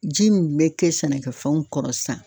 Ji min bɛ kɛ sɛnɛkɛfɛnw kɔrɔ sisan